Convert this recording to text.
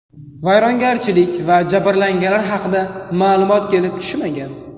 Vayronagarchilik va jabrlanganlar haqida ma’lumot kelib tushmagan.